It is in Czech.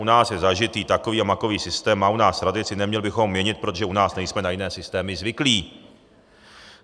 U nás je zažitý takový a makový systém, má u nás tradici, neměli bychom měnit, protože u nás nejsme na jiné systémy zvyklí.